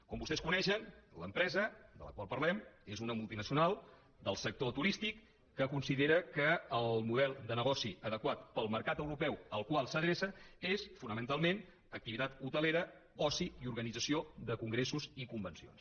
com vostès coneixen l’empresa de la qual parlem és una multinacional del sector turístic que considera que el model de negoci adequat per al mercat europeu al qual s’adreça és fonamentalment activitat hotelera oci i organització de congressos i convencions